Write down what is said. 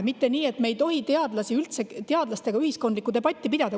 nii, et me ei tohi üldse teadlastega ühiskondlikku debatti pidada.